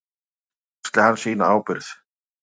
Þannig axli hann sína ábyrgð.